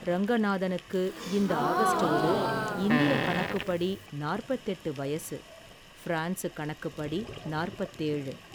ரங்கநாதனுக்கு இந்த ஆகஸ்ட்டோடு இந்தியகணக்குபடி நாற்பதெட்டு வயது பிரான்சு கணக்குப்படி நாற்பத்தேழு.